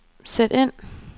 sæt ind